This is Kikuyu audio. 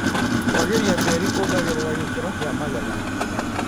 Kwagĩria tĩri kuongagĩrira gĩkĩro kia magetha.